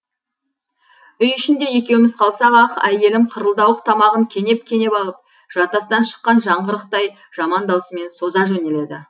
үй ішінде екеуміз қалсақ ақ әйелім қырылдауық тамағын кенеп кенеп алып жартастан шыққан жаңғырықтай жаман даусымен соза жөнеледі